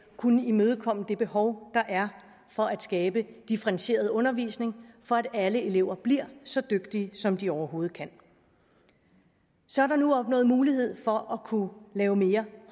kunne imødekomme det behov der er for at skabe differentieret undervisning for at alle elever bliver så dygtige som de overhovedet kan så er der nu opnået mulighed for at kunne lave mere